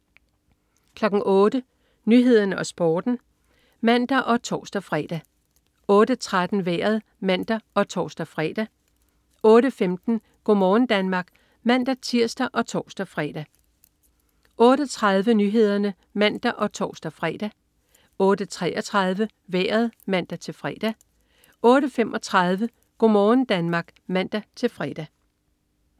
08.00 Nyhederne og Sporten (man og tors-fre) 08.13 Vejret (man og tors-fre) 08.15 Go' morgen Danmark (man-tirs og tors-fre) 08.30 Nyhederne (man og tors-fre) 08.33 Vejret (man-fre) 08.35 Go' morgen Danmark (man-fre)